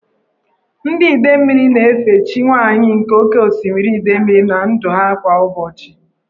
Ndị Idemili na-efe chi nwanyị nke oke osimiri (Idemili) na ndụ ha kwa ụbọchị.